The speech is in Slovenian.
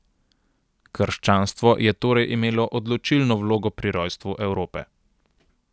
Krščanstvo je torej imelo odločilno vlogo pri rojstvu Evrope.